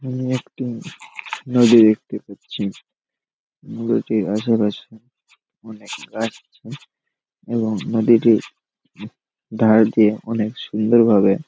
আমি একটি নদী দেখতে পাচ্ছি নদীটির আশেপাশে অনেক গাছ আছে এবং নদীটি উ ধার দিয়ে অনেক সুন্দর ভাবে--